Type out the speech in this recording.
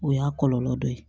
O y'a kɔlɔlɔ dɔ ye